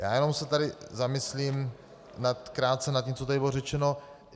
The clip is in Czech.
Já jenom se tady zamyslím krátce nad tím, co tady bylo řečeno.